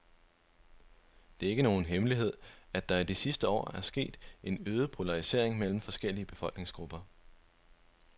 Det er ikke nogen hemmelighed, at der i de sidste år er sket en øget polarisering mellem forskellige befolkningsgrupper.